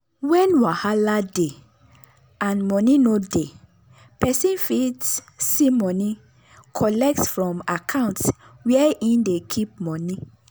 when wahala dey and money no dey peson fit see money collect from account where hin dey keep money.